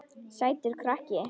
Sætur krakki!